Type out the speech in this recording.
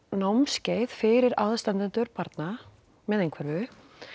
námskeið fyrir aðstandendur barna með einhverfu